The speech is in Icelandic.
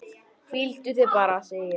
Hvíldu þig bara, segi ég.